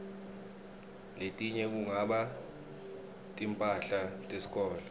letinye kungaba timphahla tesikolo